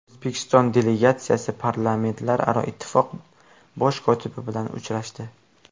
O‘zbekiston delegatsiyasi Parlamentlararo ittifoq bosh kotibi bilan uchrashdi.